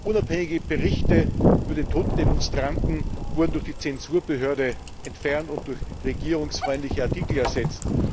Unabhängige Berichte über den Tod von Demonstranten wurden durch die Zensurbehörde entfernt und durch regierungsfreundliche Artikel ersetzt.